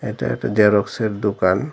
এটা একটা জেরক্সের দোকান।